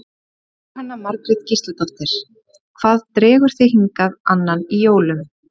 Jóhanna Margrét Gísladóttir: Hvað dregur þig hingað á annan í jólum?